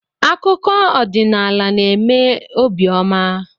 Akụkọ odinaala na-eme óbị ọma